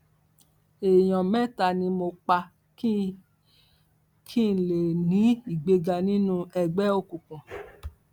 èèyàn mẹta ni mo pa kí kí n lè ní ìgbéga nínú ẹgbẹ òkùnkùn